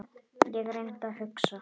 Ég reyndi að hugsa.